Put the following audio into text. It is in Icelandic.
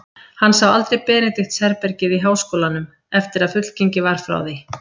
Hann sá aldrei Benedikts-herbergið í háskólanum, eftir að fullgengið var frá því.